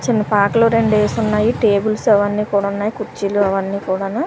చిన్న పాకలు రెండేసున్నాయి టేబుల్స్ అవన్నీ కూడున్నాయి కుర్చీలు అవన్నీ కూడాను.